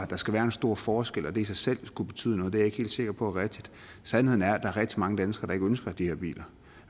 der skal være en stor forskel og at det i sig selv skulle betyde noget er jeg ikke helt sikker på er rigtigt sandheden er at er rigtig mange danskere der ikke ønsker de her biler